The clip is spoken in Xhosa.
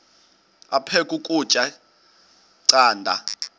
aphek ukutya canda